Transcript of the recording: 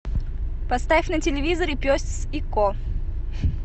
поставь на телевизоре пес и ко